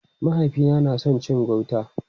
Mahaifina na son cin gauta.